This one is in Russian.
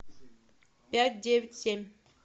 пять девять семь